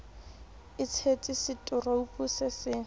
e tshetse seturupu se se